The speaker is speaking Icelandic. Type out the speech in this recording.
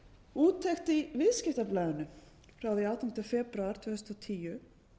úttekt í viðskiptablaðinu frá því átjánda febrúar tvö þúsund og tíu